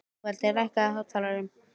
Sigvaldi, lækkaðu í hátalaranum.